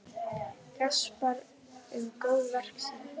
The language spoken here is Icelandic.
Gaspra um góðverk sín.